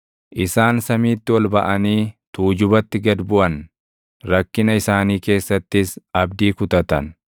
Isaan samiitti ol baʼanii tuujubatti gad buʼan; rakkina isaanii keessattis abdii kutatan.